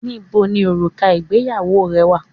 Níboni òrùka ìgbéyàwó rẹ wà?